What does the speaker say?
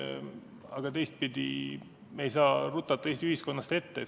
Aga teistpidi ei saa me rutata Eesti ühiskonnast ette.